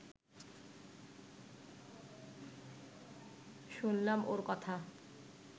শুনলাম ওঁর কথা